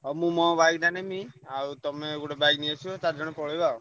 ହଉ ମୁଁ ମୋ bike ଟା ନେମି ଆଉ ତମେ ଗୋଟେ bike ନେଇଆସିବ ଚାରିଜଣ ପଳେଇବା ଆଉ।